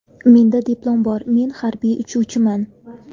Menda diplom bor, men harbiy uchuvchiman.